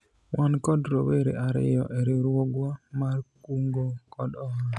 wan kod rowere ariyo e riwruogwa mar kungo kod hola